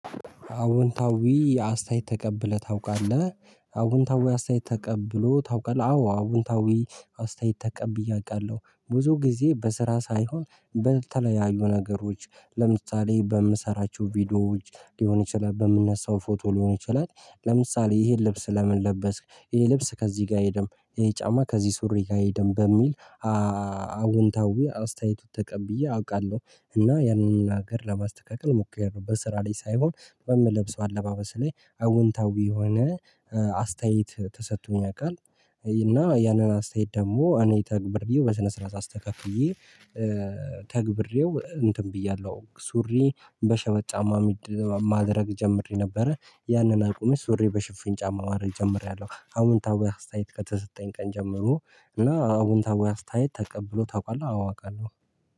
አወንታዊ አስተያየት ተቀብለህ ታውቃለህ አወንታዊ አስተያየት ተቀብሎ ታውቃለህ አዎ አወንታዊ አስተያየት ተቀብዬ አቃለሁ ብዙ ግዜ በስራ ሳይሆን በተለያዩ ነገሮች ለምሳሌ በምሰራቸው ቪዲዮዎች ሊሆን ይችላል በምነሳው ፎቶ ሊሆን ይችላል ለምሳሌ ይሄን ልብስ ለምን ለበስክ ይሄ ልብስ ከዚህ ጋ አይሄድም ይሄ ጫማ ከዚህ ሱሪ ጋ አይሄድም በሚል። አወንታዊ አስተያየቱ ተቀብዬ አቃለሁ። እና ያንን ነገር ለማስተካከል ሞክሪያለሁ በስራ ላይ ሳይሆን በምለብሰው አለባበስ ላይ አዎንታዊ የሆነ አስተያየት ተሰቶኝ ያቃል። እና ያንን አስተያየት ደሞ እኔ ተግብሬ በስነ ስርዓት አስተካክዬ። ተግብሬው እንትን ብያለሁ ሱሪ በሸበጥ ጫማ ማድረግ ጀምሬ ነበረ ያንን አቁሜ ሱሪ በሽፍኝ ጫማ ማረግ ጀምሬያለሁ። አዎንታዊ አስተያየት ከተሰጠኝ ቀን ጀምሮ እና አዎንታዊ አስተያየት ተቀብሎ ታቋላ አዋ አቃለሁ